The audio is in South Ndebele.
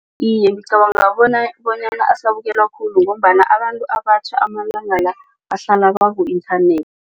Iye, ngicabanga bona bonyana asabukelwa khulu ngombana abantu abatjha amalanga la bahlala baku-internet.